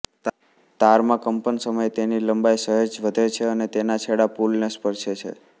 તારમાં કંપન સમયે તેની લંબાઈ સહેજ વધે છે અને તેના છેડા પુલને સ્પર્ષે છે